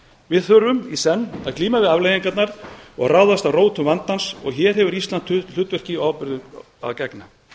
við þurfum í senn að glíma við afleiðingarnar og ráðast að rótum vandans og hér hefur ísland hlutverki og ábyrgð að gegna